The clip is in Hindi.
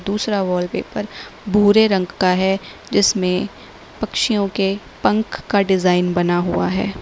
दूसरा वॉलपेपर भूरे रंग का है जिसमें पक्षियों के पंख का डिजाइन बना हुआ है।